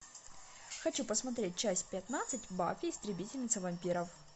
хочу посмотреть часть пятнадцать баффи истребительница вампиров